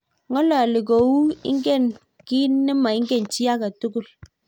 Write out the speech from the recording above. ng'ololi ko tu ingen kiy ni maingen chii age tugul